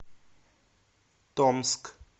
томск